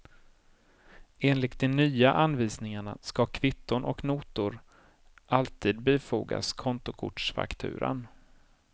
Enligt de nya anvisningarna ska kvitton och notor alltid bifogas kontokortsfakturan.